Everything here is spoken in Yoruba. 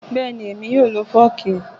Bẹ́ẹ̀ni, èmi yóò lo Fọ́ọ́kì.